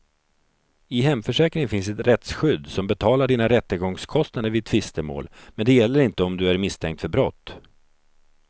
I hemförsäkringen finns ett rättsskydd som betalar dina rättegångskostnader vid tvistemål, men det gäller inte om du är misstänkt för brott.